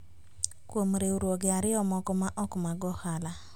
Kkuom riwruoge ariyo moko maok mag ohala